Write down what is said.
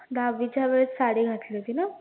दहावीच्या वेळेस साडी घातली होती ना